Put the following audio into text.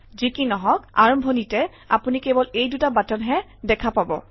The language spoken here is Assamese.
যি কি নহওক আৰম্ভণিতে আপুনি কেৱল এই দুটা বাটনহে দেখা পাব